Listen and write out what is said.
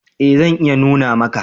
E zan iya nuna maka.